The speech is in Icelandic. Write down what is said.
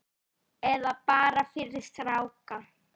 Eða bara fyrir stráka!